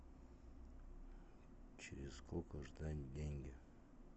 через сколько ждать деньги